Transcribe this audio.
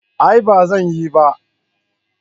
A'a ba zan yi ba